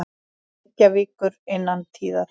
Reykjavíkur innan tíðar.